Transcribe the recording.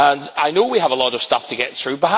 I know we have a lot of stuff to get through.